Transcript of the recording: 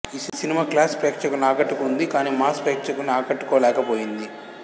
ఈ cinema class ప్రేక్షకుల్ని ఆకట్టుకునింది కానీ మాస్ ప్రేక్షకుల్ని ఆకట్టుకోలేక పోయింది